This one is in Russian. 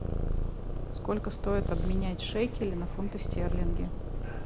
сколько стоит обменять шекели на фунты стерлинги